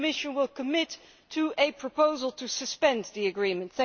will commit to a proposal to suspend the agreement.